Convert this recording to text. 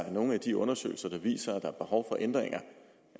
er nogen af de undersøgelser der viser at der er behov for ændringer